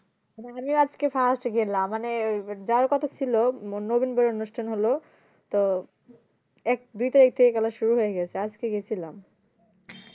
আমিও আজকে first গেলাম মানে ওই যার কথা ছিল নবীনবরণ অনুষ্ঠান হলো তো এক দুই তারিখ থেকে খেলা শুরু হয়ে গেছে আজকে গেছিলাম